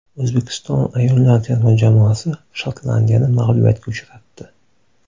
O‘zbekiston ayollar terma jamoasi Shotlandiyani mag‘lubiyatga uchratdi.